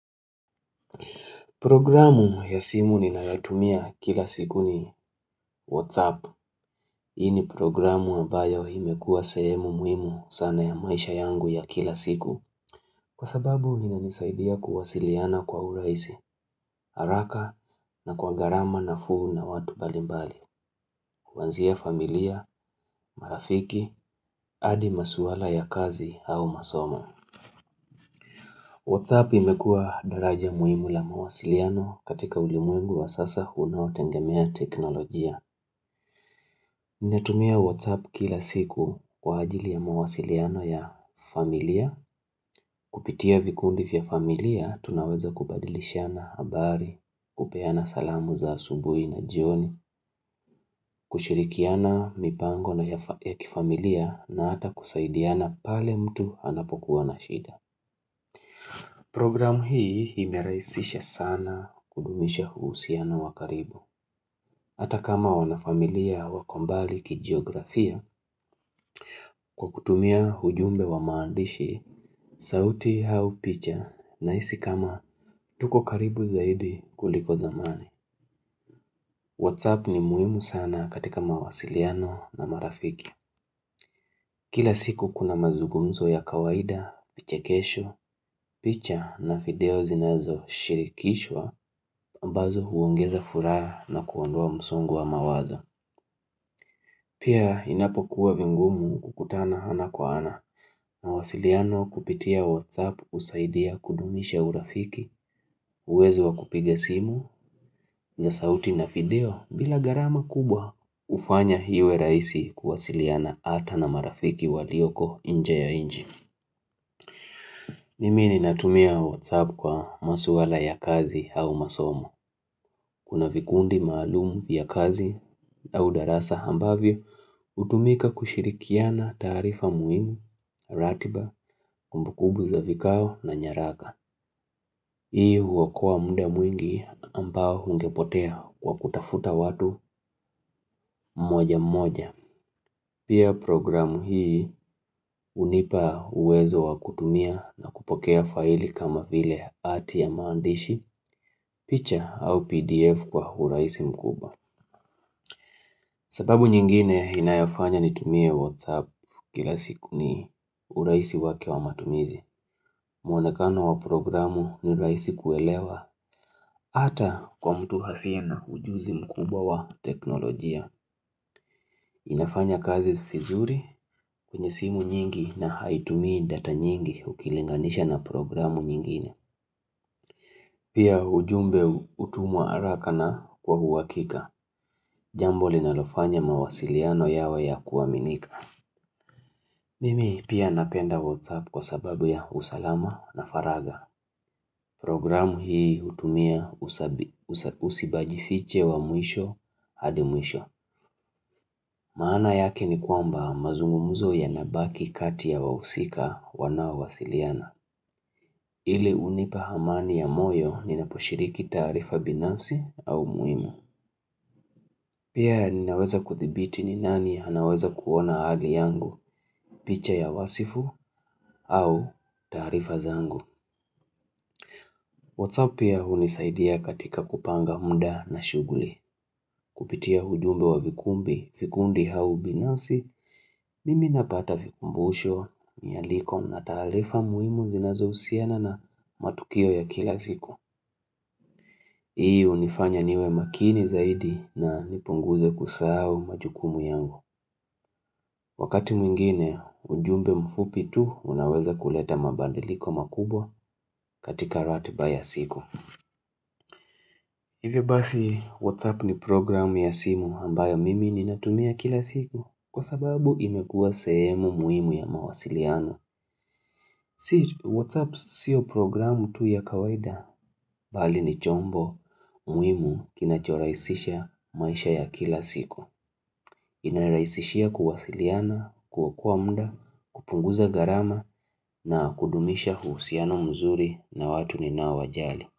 Programu ya simu ninayotumia kila siku ni WhatsApp. Hii ni programu ambayo imekuwa sahemu muhimu sana ya maisha yangu ya kila siku. Kwa sababu ina nisaidia kuwasiliana kwa urahisi, haraka na kwa gharama nafuu na watu mbalimbali. Kuanzia familia, marafiki, hadi masuala ya kazi au masoma. WhatsApp imekuwa daraja muhimu la mawasiliano katika ulimwengu wa sasa unaotegemea teknolojia. Ninatumia WhatsApp kila siku kwa ajili ya mawasiliano ya familia, kupitia vikundi vya familia tunaweza kubadilishana habari, kupeana salamu za asubuhi na jioni, kushirikiana mipango na ya kifamilia na hata kusaidiana pale mtu anapokuwa na shida. Program hii imerahisisha sana kudumisha uhusiano wa karibu. Hata kama wanafamilia wako mbali kijiografia kwa kutumia ujumbe wa maandishi, sauti au picha nahisi kama tuko karibu zaidi kuliko zamani. WhatsApp ni muhimu sana katika mawasiliano na marafiki. Kila siku kuna mazungumzo ya kawaida, fichekesho, picha na video zinazoshirikishwa ambazo huongeza furaha na kuondoa msongo wa mawazo Pia inapokuwa vingumu kukutana ana kwa ana na wasiliano kupitia WhatsApp husaidia kudumisha urafiki uwezo wa kupiga simu za sauti na video bila gharama kubwa hufanya iwe rahisi kuwasiliana hata na marafiki walioko nje ya nchi Mimi ninatumia WhatsApp kwa masuala ya kazi au masomo Kuna vikundi maalumu vya kazi au darasa ambavyo hutumika kushirikiana taarifa muhimu, ratiba, kumbu kumbu za vikao na nyaraka. Hii huokoa mda mwingi ambao ungepotea kwa kutafuta watu mmoja mmoja. Pia programu hii unipa uwezo wa kutumia na kupokea faili kama vile hati ya maandishi, picha au pdf kwa urahisi mkubwa. Sababu nyingine inayofanya nitumie WhatsApp kila siku ni urahisi wake wa matumizi. Mwonekano wa programu ni rahisi kuelewa hata kwa mtu asiye na ujuzi mkubwa wa teknolojia. Inafanya kazi vizuri kwenye simu nyingi na haitumii data nyingi ukilinganisha na programu nyingine. Pia ujumbe hutumwa haraka na kwa uhakika. Jambo linalofanya mawasiliano yawe ya kuaminika. Mimi pia napenda WhatsApp kwa sababu ya usalama na faraga. Programu hii hutumia usibajifiche wa mwisho hadi mwisho. Maana yake ni kwamba mazungumzo yanabaki kati ya wahusika wanaowasiliana. Ili unipa amani ya moyo ninaposhiriki taarifa binafsi au muhimu. Pia ninaweza kudhibiti ni nani anaweza kuona hali yangu picha ya wasifu au taarifa zangu. WhatsApp pia hunisaidia katika kupanga mda na shughuli. Kupitia ujumbe wa vikumbi, vikundi h au binafsi, mimi napata vikumbusho, nyaliko na taarifa muhimu zinazohusiana na matukio ya kila siku. Hii unifanya niwe makini zaidi na nipunguze kusahau majukumu yangu. Wakati mwingine, ujumbe mfupi tu unaweza kuleta mabadiliko makubwa katika ratiba ya siku. Hivy basi WhatsApp ni programu ya simu ambayo mimi ninatumia kila siku kwa sababu imekuwa sehemu muhimu ya mawasiliano. Si WhatsApp sio programu tu ya kawaida. Bali ni chombo muhimu kinachorahisisha maisha ya kila siku. Inarahisishia kuwasiliana, kuokoa mda, kupunguza gharama na kudumisha uhusiano mzuri na watu ninaowajali.